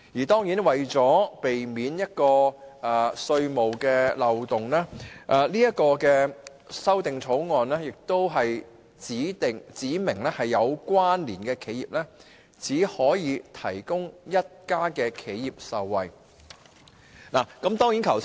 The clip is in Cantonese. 當然，為了避免稅務漏洞，《條例草案》亦指明有關連企業只可有一家企業受惠。